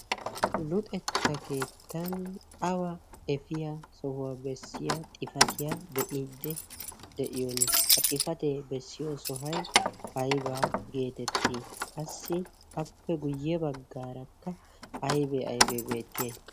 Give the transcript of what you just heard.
luxetta keettan awa efiyaa sohuwaa bessiya xifatiya be'iidde de'iyoon ha xifatee bessiyo sohai aibaa' geetettii qassi appe guyye baggaarakka aibee aibee beettiye?